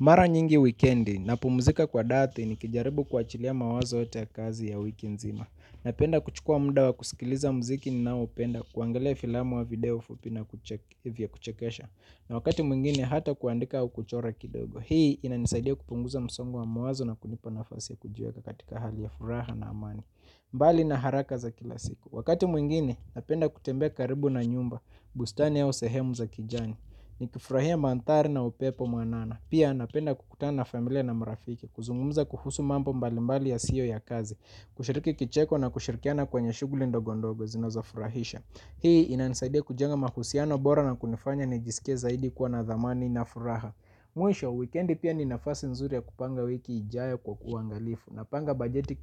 Mara nyingi wikendi na pumzika kwa dati ni kijaribu kuwa chilia mawazo yote ya kazi ya wiki nzima. Napenda kuchukua muda wa kusikiliza mziki ni nao upenda kuangalia filamu wa video fupi na kuchekesha. Na wakati mwingine hata kuandika au kuchora kidogo. Hii, inanisaidia kupunguza msongo wa mawazo na kunipa nafasi ya kujiweka katika hali ya furaha na amani. Mbali na haraka za kila siku. Wakati mwingine, napenda kutembea karibu na nyumba. Bustani au sehemu za kijani. Ni kifurahia manthari na upepo mwanana. Pia, napenda kukutana na familia na marafiki. Kuzungumza kuhusu mambo mbalimbali yasiyo ya kazi, kushiriki kicheko na kushirikiana kwenye shughuli ndogo ndogo zinoza furahisha. Hii ina nisaidia kujenga mahusiano bora na kunifanya ni jisikie zaidi kuwa na dhamani na furaha. Mwisho, weekendi pia ni nafasi nzuri ya kupanga wiki ijayo kwa kwa uangalifu, napanga bajeti